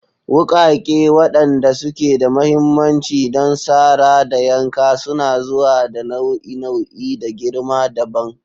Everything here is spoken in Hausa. Wukake, waɗanda suke da mahimmanci don sara da yanka, suna zuwa da nau'i-nau'i da girma dabam.